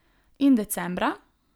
In decembra?